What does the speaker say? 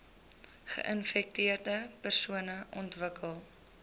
geinfekteerde persone ontwikkel